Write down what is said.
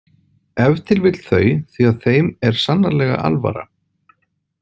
Ef til vill þau því að þeim er sannarlega alvara.